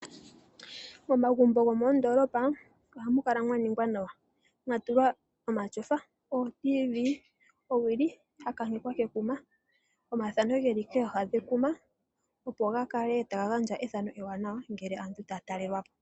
Omagumbo gomondolopa ohamu kala mwa ningwa nawa mwatulwa omatyofa, oTv, owili ya kankekwa kekuma, omathano geli koha dhekuma opo ga kale taga gandja ethano ewanawa ngele aantu taya taya talelwapo.